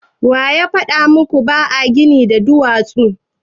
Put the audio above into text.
Waya faɗa muku ba a gini da duwatsu?